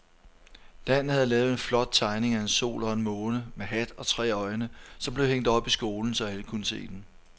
Dan havde lavet en flot tegning af en sol og en måne med hat og tre øjne, som blev hængt op i skolen, så alle kunne se den.